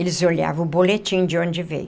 Eles olhavam o boletim de onde veio.